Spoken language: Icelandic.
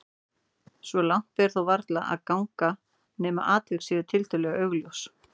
Svo langt ber þó varla að ganga nema atvik séu tiltölulega augljós.